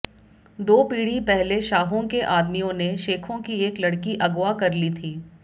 दो पीढ़ी पहले शाहों के आदमियों ने शेखों की एक लड़की अगावा कर ली थी